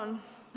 Tänan!